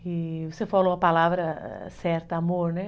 E você falou a palavra certa, amor, né?